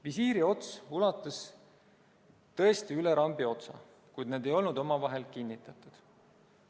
Visiiri ots ulatus tõesti üle rambi otsa, kuid need ei olnud omavahel kinnitatud.